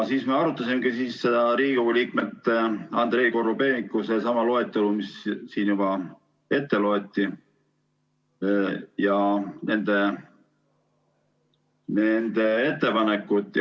Me arutasime Riigikogu liikmete ettepanekut, sedasama, mille Andrei Korobeinik juba ette luges.